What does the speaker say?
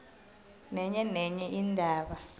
nenye nenye indaba